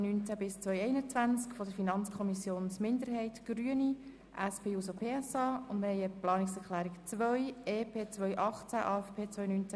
Sie haben die Planungserklärung 2 angenommen mit 90 Stimmen gegenüber 59 Stimmen für die Planungserklärung 1 und bei 0 Enthaltungen.